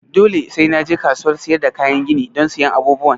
Dole sai na je kasuwar siyar da kayan gini don siyan abubuwan?